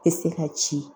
Tɛ se ka ci